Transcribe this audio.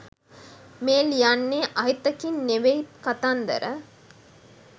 මේ ලියන්නේ අහිතකින් නෙවෙයි කතන්දර